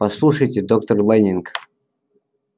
послушайте доктор лэннинг